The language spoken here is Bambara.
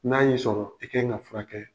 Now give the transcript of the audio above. N'a y'i sɔrɔ i kan in ka furakɛ kɛ.